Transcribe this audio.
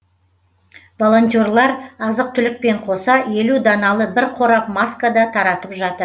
волонтерлар азық түлікпен қоса елу даналы бір қорап маска да таратып жатыр